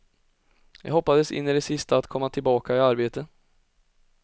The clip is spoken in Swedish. Jag hoppades in i det sista att komma tillbaka i arbete.